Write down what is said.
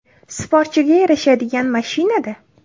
Sportchiga yarashadigan mashina-da.